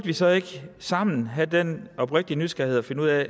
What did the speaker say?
vi så ikke sammen burde have den oprigtige nysgerrighed og finde ud af